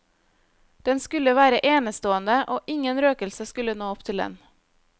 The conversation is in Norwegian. Den skulle være enestående, og ingen røkelse skulle nå opp til den.